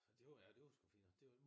Det var ja det var sgu fint nok